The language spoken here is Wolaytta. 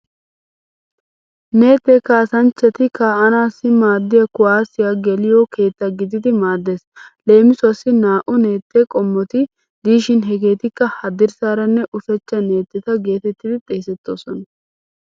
Neettee kaassanchchati kaa'anaassi maaddiya kuwaase geliyo keetta gididi maaddeees. Leemisuwaassi naa"u neette qommoti diishin hegeetikka haddirssanne ushachcha neetteta geetettidi xeesettoosona.